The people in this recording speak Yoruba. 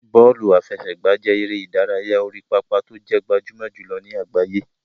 Bọ́ọ̀lù àfẹsẹ̀gbá jẹ́ eré ìdárayá orí pápá tó jẹ́ gbajúmọ̀ jùlọ ní àgbáyé.